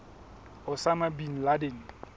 osama bin laden